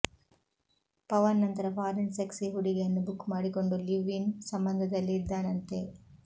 ಪವನ್ ನಂತರ foreign sexy ಹುಡುಗಿಯನ್ನು book ಮಾಡಿಕೊಂಡು ಲಿವ್ ಇನ್ ಸಂಬಂಧದಲ್ಲಿ ಇದ್ದಾನಂತೆ